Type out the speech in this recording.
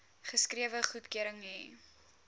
geskrewe goedkeuring hê